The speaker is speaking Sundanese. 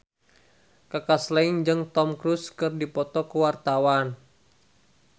Kaka Slank jeung Tom Cruise keur dipoto ku wartawan